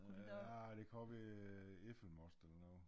Ja ah det kan også være æblemost eller noget